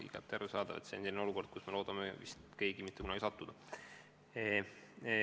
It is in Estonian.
Igati arusaadav, et see on olukord, kuhu iga inimene loodab end mitte kunagi sattuvat.